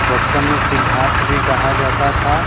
बचपन में सिंद्धार्थ भी कहा जाता था।